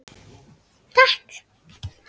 Takk